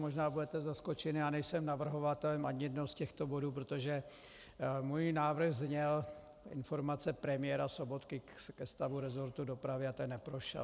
Možná budete zaskočen, já nejsem navrhovatelem ani jednoho z těchto bodů, protože můj návrh zněl Informace premiéra Sobotky ke stavu resortu dopravy a ten neprošel.